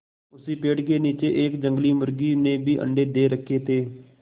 उसी पेड़ के नीचे एक जंगली मुर्गी ने भी अंडे दे रखें थे